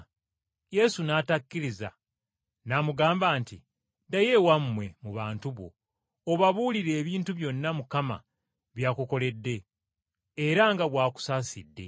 Yesu n’atakkiriza, n’amugamba nti, “Ddayo ewammwe mu bantu bo obabuulire ebintu byonna Mukama by’akukoledde era nga bw’akusaasidde.”